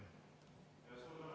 Suur tänu!